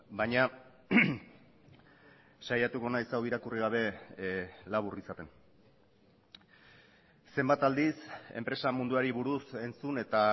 baina saiatuko naiz hau irakurri gabe labur izaten zenbat aldiz enpresa munduari buruz entzun eta